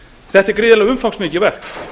þetta er gríðarlega umfangsmikið verk